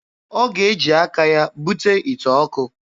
Ọ ga-eji aka ya bute ite ọkụ.